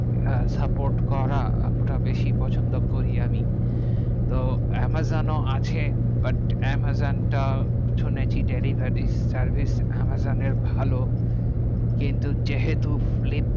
support করা তো বেশি পছন্দ করি আমি। তো amazon আছে but amazon টা শুনেছি delivery service amazon ভালো কিন্তু যেহেতু